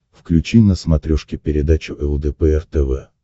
включи на смотрешке передачу лдпр тв